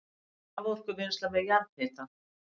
Raforkuvinnsla með jarðhita